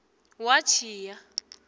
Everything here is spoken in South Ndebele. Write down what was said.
watjhiya